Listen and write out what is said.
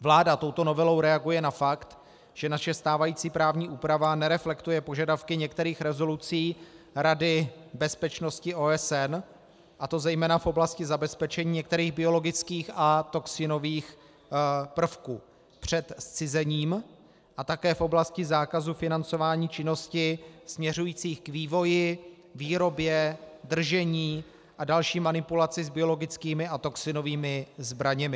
Vláda touto novelou reaguje na fakt, že naše stávající právní úprava nereflektuje požadavky některých rezolucí Rady bezpečnosti OSN, a to zejména v oblasti zabezpečení některých biologických a toxinových prvků před zcizením a také v oblasti zákazu financování činností směřujících k vývoji, výrobě, držení a další manipulaci s biologickými a toxinovými zbraněmi.